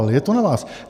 Ale je to na vás.